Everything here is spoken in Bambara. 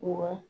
Wa